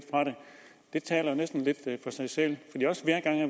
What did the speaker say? det taler næsten for sig selv det